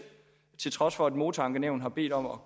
til trods for at motorankenævnet har bedt om at